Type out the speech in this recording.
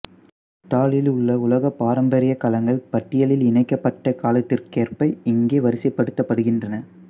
இத்தாலியிலுள்ள உலக பாரம்பரியக் களங்கள் பட்டியலில் இணைக்கப்பட்ட காலத்திற்கேற்ப இங்கே வரிசைப்படுத்தப்படுகின்றன